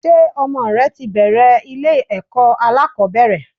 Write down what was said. Ṣé ọmọ rẹ ti bẹ̀ẹ̀rẹ̀ ilé ẹ̀kọ́ alákọ̀ọ́bẹ̀rẹ̀?